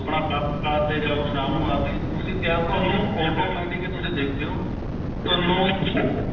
ਆਪਣਾ ਕੰਮ ਕਾਰ ਤੇ ਜਾਓ ਸ਼ਾਮ ਨੂੰ ਆਕੇ ਤੁਸੀਂ ਕਿਹਾ ਤੁਹਾਨੂੰ automatic ਹੀ ਤੁਸੀਂ ਦੇਖਿਓ ਤੁਹਾਨੂੰ